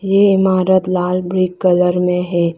ये इमारत लाल ब्लैक कलर में है।